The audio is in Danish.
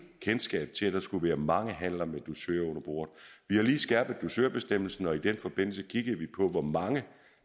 kendskab til at der skulle være mange handler med dusør under bordet vi har lige skærpet dusørbestemmelsen og i den forbindelse kiggede vi på hvor mange